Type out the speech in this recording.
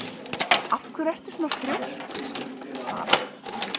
Af hverju ertu svona þrjóskur, Dara?